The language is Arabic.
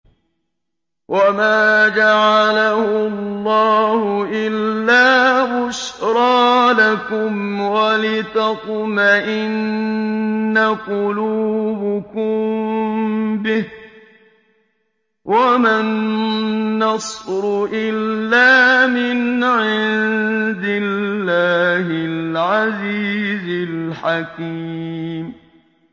وَمَا جَعَلَهُ اللَّهُ إِلَّا بُشْرَىٰ لَكُمْ وَلِتَطْمَئِنَّ قُلُوبُكُم بِهِ ۗ وَمَا النَّصْرُ إِلَّا مِنْ عِندِ اللَّهِ الْعَزِيزِ الْحَكِيمِ